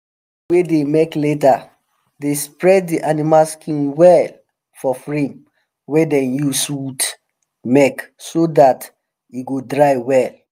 people wey dey make leather dey spread de animal skin well for frame wey dem use wood make so dat e go dry well